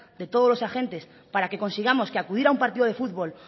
de todos los agentes para que consigamos que acudir a un partido de futbol